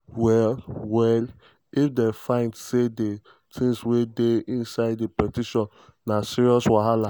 well well (if dem find say di tins wey dey inside di petition na serious wahala).